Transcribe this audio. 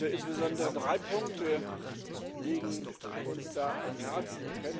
Insbesondere drei Punkte liegen uns da am Herzen.